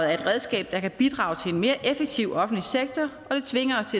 er et redskab der kan bidrage til en mere effektiv offentlig sektor og det tvinger os